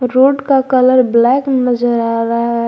Road का colour black नजर आ रहा है।